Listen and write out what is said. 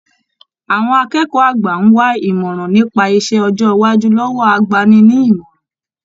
Àwọn akẹ́kọ̀ọ́ àgbà n wà imọran nípa iṣẹ ọjọ iwájú lọwọ àgbàni-ní-ìmọràn.